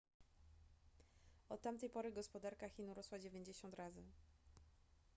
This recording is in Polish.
od tamtej pory gospodarka chin urosła 90 razy